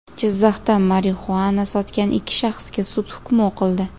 Jizzaxda marixuana sotgan ikki shaxsga sud hukmi o‘qildi.